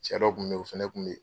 Cɛ dɔ kun bɛ ye o fana kun bɛ ye